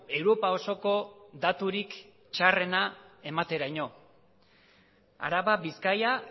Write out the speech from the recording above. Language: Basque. europa osoko daturik txarrena emateraino araba bizkaia